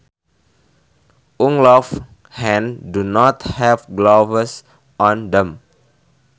Ungloved hands do not have gloves on them